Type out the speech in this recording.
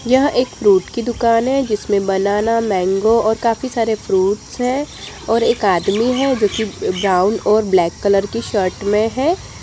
यह एक फ्रूट की दुकान है जिसमें बनाना मैंगो और काफी सारे फ्रूट्स हैं और एक आदमी है जो की ब्राउन और ब्लैक कलर की शर्ट में है।